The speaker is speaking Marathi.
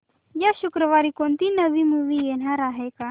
या शुक्रवारी कोणती नवी मूवी येणार आहे का